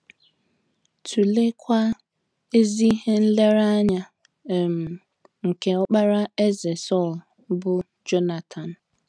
Tụleekwa ezi ihe nlereanya um nke ọkpara Eze Sọl bụ́ Jonatan.